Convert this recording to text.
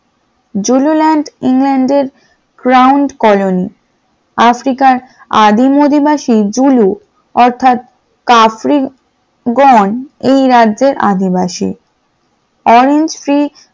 Julian ইংল্যান্ডের grand colony আফ্রিকার আদিম অধিবাসী জুলুক অর্থাৎ কাফ্রিগণ এই রাজ্যের আদিবাসী । orange free